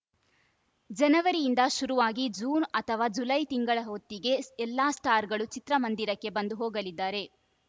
ಜನವರಿಂದ ಶುರುವಾಗಿ ಜೂನ್‌ ಅಥವಾ ಜುಲೈ ತಿಂಗಳ ಹೊತ್ತಿಗೆ ಎಲ್ಲ ಸ್ಟಾರ್‌ಗಳು ಚಿತ್ರಮಂದಿರಕ್ಕೆ ಬಂದು ಹೋಗಲಿದ್ದಾರೆ